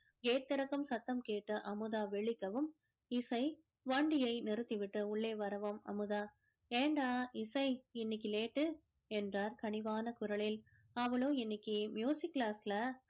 gate திறக்கும் சத்தம் கேட்டு அமுதா விழிக்கவும் இசை வண்டியை நிறுத்தி விட்டு உள்ளே வரவும் அமுதா ஏண்டா இசை இன்னைக்கு late டு என்றார் கனிவான குரலில் அவளோ இன்னைக்கு class ல